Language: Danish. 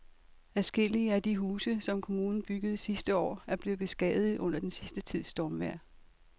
Adskillige af de huse, som kommunen byggede sidste år, er blevet beskadiget under den sidste tids stormvejr.